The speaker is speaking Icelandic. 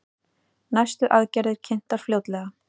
Næstu aðgerðir kynntar fljótlega